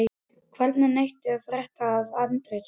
Hvergi neitt að frétta af Arndísi.